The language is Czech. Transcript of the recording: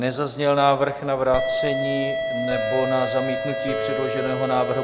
Nezazněl návrh na vrácení nebo na zamítnutí předloženého návrhu.